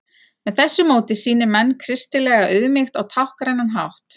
Með þessu móti sýni menn kristilega auðmýkt á táknrænan hátt.